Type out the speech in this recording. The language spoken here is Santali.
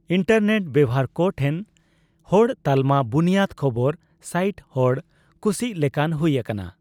ᱤᱱᱴᱟᱨᱱᱮᱴ ᱵᱮᱣᱦᱟᱨ ᱠᱚ ᱴᱷᱮᱱ ᱦᱚᱲ ᱛᱟᱞᱢᱟ ᱵᱩᱱᱤᱭᱟᱹᱫ ᱠᱷᱚᱵᱚᱨ ᱥᱟᱭᱤᱴ ᱦᱚᱲ ᱠᱩᱥᱤᱜ ᱞᱮᱠᱟᱱ ᱦᱩᱭ ᱟᱠᱟᱱᱟ ᱾